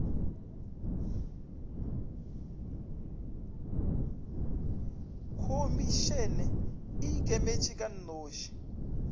khomišene e ikemetše ka noši